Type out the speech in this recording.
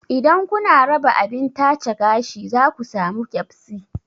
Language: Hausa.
Idan kuna raba abin tace gashi za ka samu keɓsi